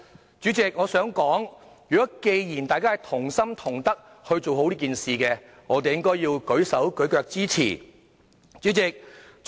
代理主席，我認為既然大家同心同德去做好這件事，便應該"舉手舉腳"支持。